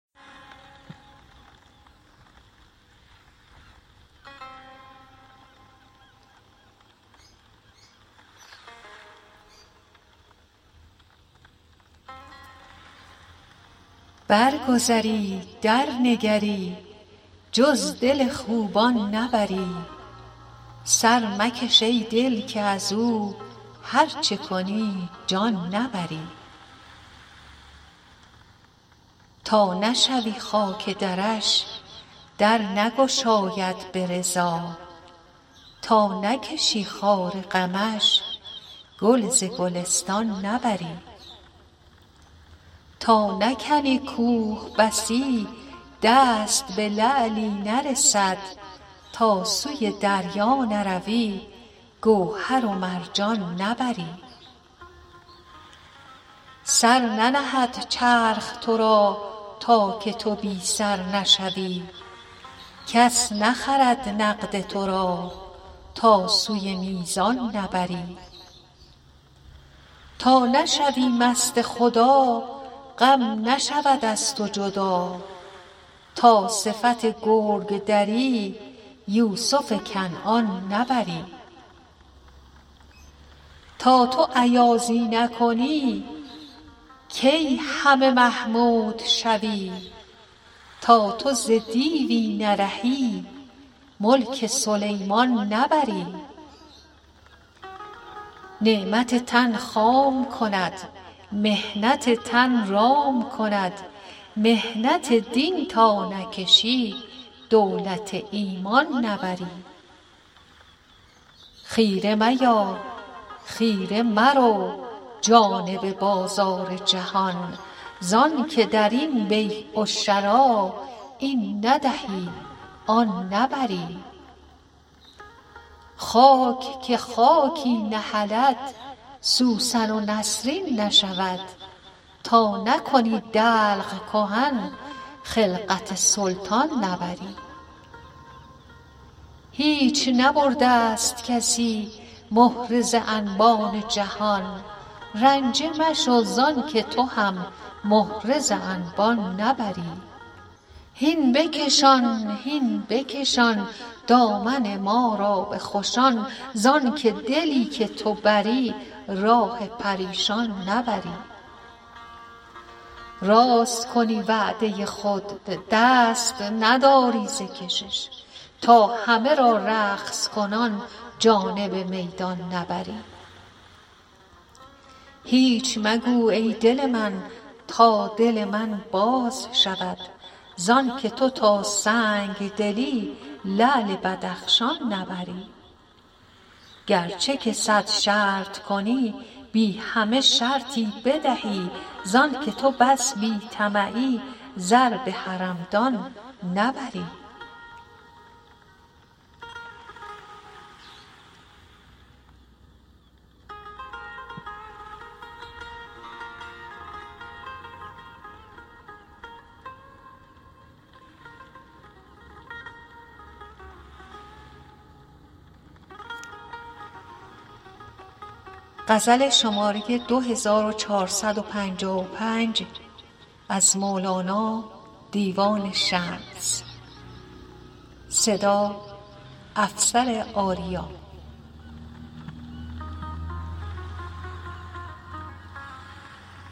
برگذری درنگری جز دل خوبان نبری سر مکش ای دل که از او هر چه کنی جان نبری تا نشوی خاک درش در نگشاید به رضا تا نکشی خار غمش گل ز گلستان نبری تا نکنی کوه بسی دست به لعلی نرسد تا سوی دریا نروی گوهر و مرجان نبری سر ننهد چرخ تو را تا که تو بی سر نشوی کس نخرد نقد تو را تا سوی میزان نبری تا نشوی مست خدا غم نشود از تو جدا تا صفت گرگ دری یوسف کنعان نبری تا تو ایازی نکنی کی همه محمود شوی تا تو ز دیوی نرهی ملک سلیمان نبری نعمت تن خام کند محنت تن رام کند محنت دین تا نکشی دولت ایمان نبری خیره میا خیره مرو جانب بازار جهان ز آنک در این بیع و شری این ندهی آن نبری خاک که خاکی نهلد سوسن و نسرین نشود تا نکنی دلق کهن خلعت سلطان نبری آه گدارو شده ای خاطر تو خوش نشود تا نکنی کافریی مال مسلمان نبری هیچ نبرده ست کسی مهره ز انبان جهان رنجه مشو ز آنک تو هم مهره ز انبان نبری مهره ز انبان نبرم گوهر ایمان ببرم گو تو به جان بخل کنی جان بر جانان نبری ای کشش عشق خدا می ننشیند کرمت دست نداری ز کهان تا دل از ایشان نبری هین بکشان هین بکشان دامن ما را به خوشان ز آنک دلی که تو بری راه پریشان نبری راست کنی وعده خود دست نداری ز کشش تا همه را رقص کنان جانب میدان نبری هیچ مگو ای لب من تا دل من باز شود ز آنک تو تا سنگ دلی لعل بدخشان نبری گرچه که صد شرط کنی بی همه شرطی بدهی ز آنک تو بس بی طمعی زر به حرمدان نبری